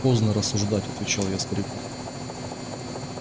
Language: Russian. поздно рассуждать отвечал я старику